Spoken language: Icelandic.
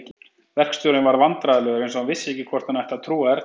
Verkstjórinn varð vandræðalegur eins og hann vissi ekki hvort hann ætti að trúa Erni.